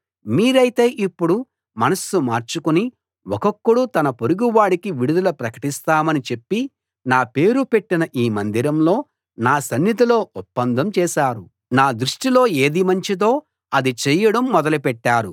మీరైతే ఇప్పుడు మనస్సు మార్చుకుని ఒక్కొక్కడు తన పొరుగువాడికి విడుదల ప్రకటిస్తామని చెప్పి నా పేరు పెట్టిన ఈ మందిరంలో నా సన్నిధిలో ఒప్పందం చేశారు నా దృష్టిలో ఏది మంచిదో అది చెయ్యడం మొదలుపెట్టారు